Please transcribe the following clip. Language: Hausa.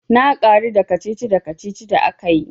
Na karu da kacici kacici da akayi.